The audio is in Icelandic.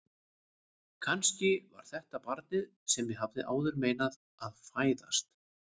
Kannski var þetta barnið sem ég hafði áður meinað að fæðast.